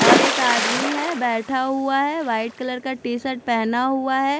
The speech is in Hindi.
और एक आदमी है बैठा हुआ है वाइट कलर का टी शर्ट पहना हुआ है।